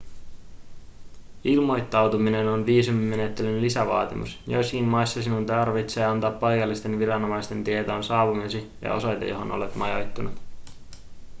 ilmoittautuminen on viisumimenettelyn lisävaatimus joissakin maissa sinun tarvitsee antaa paikallisten viranomaisten tietoon saapumisesi ja osoite johon olet majoittunut